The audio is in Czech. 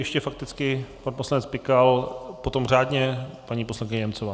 Ještě fakticky pan poslanec Pikal, potom řádně paní poslankyně Němcová.